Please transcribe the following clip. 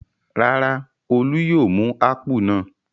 Rárá, Olú yóò mú ápù náà.